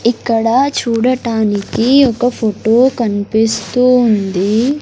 ఇక్కడ చూడటానికి ఒక ఫోటో కనిపిస్తూ ఉంది.